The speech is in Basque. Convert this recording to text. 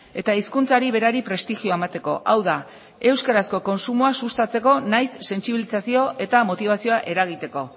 eta hizkuntzari berari prestigioa emateko hau da euskarazko kontsumoa sustatzeko nahiz sentsibilizazio eta motibazioa eragiteko